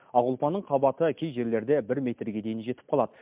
ақ ұлпаның қабаты кей жерлерде бір метрге дейін жетіп қалады